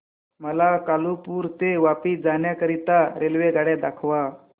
मला कालुपुर ते वापी जाण्या करीता रेल्वेगाड्या दाखवा